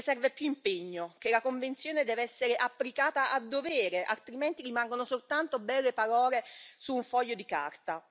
Che serve più impegno, che la Convenzione deve essere applicata a dovere, altrimenti rimangono soltanto belle parole su un foglio di carta.